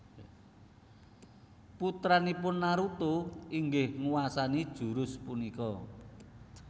Putranipun Naruto inggih nguwasani jurus punika